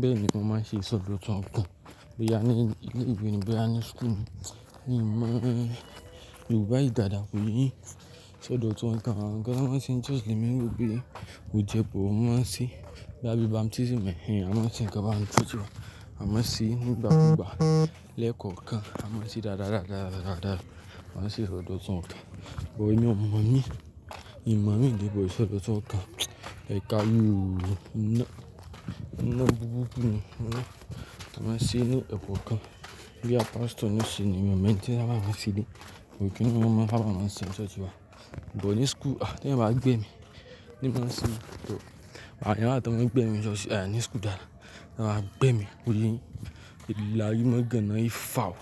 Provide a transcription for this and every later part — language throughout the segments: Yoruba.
Bẹ́ẹ̀ ni mo máa ṣe ìsọdọ̀tun nkan. Bí a ní ilé ìwé níbí a ní school. Ní mo dùbú ìdàdà pé ṣọdọtun ọkọ̀ máa ń ṣe just limí òbí. O jẹ́ bo máa ṣí gba bí báptism mọ ẹni a máa ṣe ń kọ́ bá ń túnṣe. A máa ṣí ní ìgbàkúgbà lẹ́kọ̀ọ̀kan. A máa ṣí dàda dàda dàda. A máa ṣí ṣọdọtun ọkọ̀. Wò ó ní ọmọ mí, ìyàwó mí di gbogbo ṣọdọtun ọkọ̀. Ẹ ká mí òun mọ́ iná, iná búburú ni iná. A máa ṣí inú ẹ̀kọ́ kan. Bí a pastor níṣe ni mo menti lábá máa ṣí lé. Kíni mo máa bá máa ṣe ṣọṣí ba. Bó ní school, a ti eyan bá gbé mi. Tí mo ṣí tò, àní láti bá gbé mi ṣọṣí, àní school dàda. Láti bá gbé mi bó lé. Ìlàrí mó gan an yìí fàó.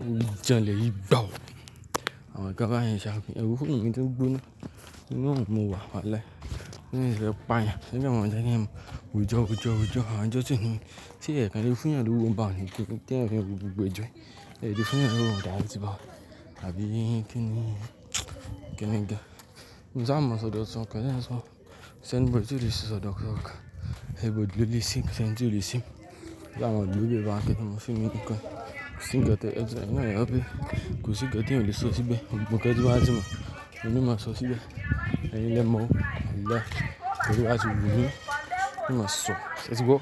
Òun jẹ́ lè yí gbàótè. Àwọn kan bá yẹn ṣàpín. Ẹrú fún mi tí ń gbóná. Iná ò mú wa walahi. Iná yẹn ó paya. Ṣé bí mo ń jẹ́ ní mò ń jọ jọ jọ. À ń jọ ti ni. Tí ẹ̀kan lé fún yan ni òun bá wọlé. Tí ẹ̀fìn lé gbogbo jọ ẹ. Ẹ di fún ìyá lóòótọ́ àti bá. Àbí kíni? Kíni ke. Mo ń sá mo ṣọdọtun ọkọ̀. Tẹ́lẹ̀ san. Ṣé ń gbọ́ tí lè ṣí ṣọdọtun ọkọ̀? Ẹ gbọ́ dúró lè ṣí. Ṣé ń gbọ́ lè ṣí? Já mo dúró lè bá kẹ́kẹ̀ mọ́ fún mi ní ikọ́. Kò sí ń gẹ́tò ẹ́ jọ̀ọ́. Eyin na le o be. Kò sí gẹ́tò lè ṣọṣí gbé. Mo kẹ́kẹ̀ tí wá sí mo. Tẹ́lẹ̀ mo máa ṣọṣí gbé. Eyin le mo o walahi. Tẹ́lẹ̀ wá ti wù mí. Tẹ́lẹ̀ mo ṣọ. Ṣé tí gbọ́?